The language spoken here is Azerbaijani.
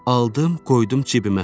Aldım, qoydum cibimə.